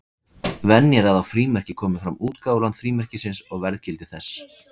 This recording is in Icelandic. Venja er að á frímerki komi fram útgáfuland frímerkisins og verðgildi þess.